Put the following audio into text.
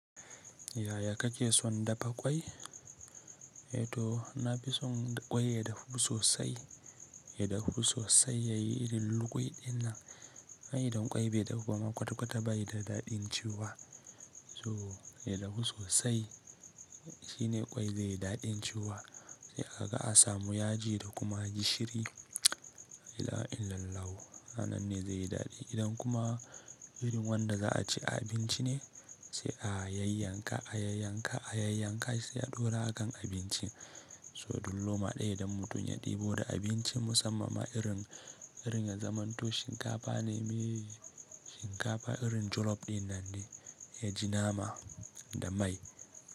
Yaya kake son dafa ƙwai? Eh to, na fi son ƙwai ya dahu sosai. Ya dahu sosai ya yi irin lugwui dinnan. Ai, idan ƙwai bai dahu ba ma kwata kwata ba yi da daɗin ciwuwa. So, ya dahu sosai. Shi ne ƙwai zai yi daɗin ciwuwa. Sai aga a samu yaji da kuma gishiri. La'ilaha illallahu. A nan ne zai yi daɗi. Idan kuma irin wanda za a ci a abinci ne, sai a yayyanka, a yayyanka, a yayyanka sai a ɗaura a kan abincin. So, duk loma ɗaya idan mutum ya ɗebo da abinci musamman ma irin, irin ya zaman to shinkafa ne, shinkafa irin jolof din nan ne, ya ji nama da mai.